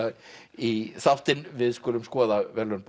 í þáttinn við skulum skoða verðlaun